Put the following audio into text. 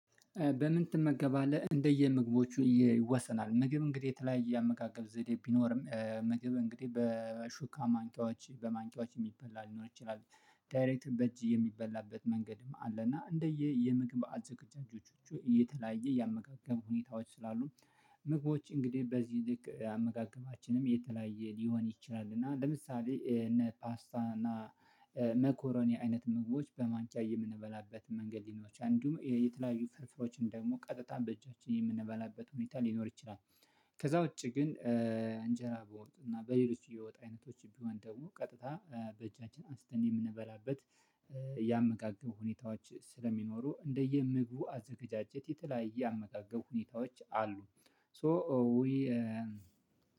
በምን ትመገባለህ? እንደየምግቦቹ ይወሰናል ምግብ እንግዲህ የተለያየ የአመጋገብ ዘዴ ቢኖርም ምግብ እንግዲህ በሹካ ማንኪያዎች በማንኪያዎች የሚበላ ሊኖር ይችላል። ዳይሬክት በእጅ የሚበላበት መንገድም አለና እንደየ የምግብ አዘጋጅቶቹ እየተለያ የአመጋገሙ ሁኔታዎች ስላሉ። ምግቦች እንግዲህ በዚህ ልክ አመጋገባችንም የተለያየ ሊሆን ይችላል። እና ለምሳሌ እነ ፓስታ እና መኮረኒ አይነት መግቦች በማንኪያ የምንበላበት መንገድ ሊኖች አንዲሁም የተለያዩ ፍርፍሮችን ደግሞ ቀጥታ በእጃችን የምንበላበት ሁኔታ ሊኖር ይችላል። ከዛ ውጪ ግን እንጀራ በውጥ እና በሌሎች የወጥ አይነቶች ቢሆን ደግሞ ቀጥታ በእጃችን አንስተን የምንበላበት የአመጋገቡ ሁኔታዎች ስለሚኖሩ እንደየምግቡ አዘጋጀት የተለያየ የአመጋገብ ሁኔታዎች አሉ። ሶ ዊ